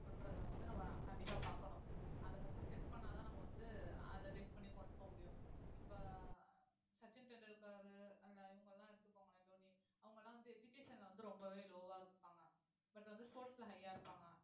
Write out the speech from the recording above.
அப்படின்றதை வந்து நம்ம கண்டிப்பா பாக்கணும் அத first check பண்ணாதான் நம்ம வந்து அதை base பண்ணி கொண்டு போக முடியும் இப்ப சச்சின் டெண்டுல்கர் அந்த இவங்க எல்லாம் எடுத்துக்கோங்களேன் தோனி அவங்க எல்லாம் வந்து education ல வந்து ரொம்பவே low ஆ இருப்பாங்க but வந்து sports ல high ஆ இருப்பாங்க